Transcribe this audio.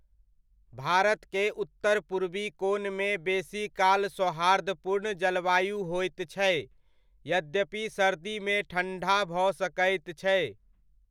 भारत के उत्तर पूर्वी कोनमे बेसीकाल सौहार्दपूर्ण जलवायु होइत छै, यद्यपि सर्दीमे ठण्ढा भऽ सकैत छै।